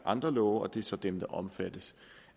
andre love og det er så dem der er omfattet